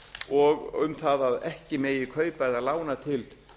og um það að ekki megi kaupa eða lána til